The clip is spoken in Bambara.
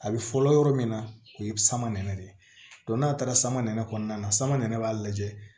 A bɛ fɔlɔ yɔrɔ min na o ye sama de ye n'a taara sama nɛnɛ kɔnɔna na samara b'a lajɛ